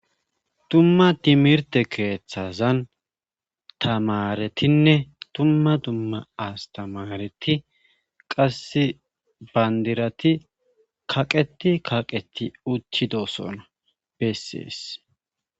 Dumma timirte keeththazan tamaretinne tumma dumma astamareti qasse bandirati kaqeti kaqeti uttidosona bessees